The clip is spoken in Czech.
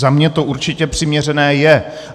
Za mě to určitě přiměřené je.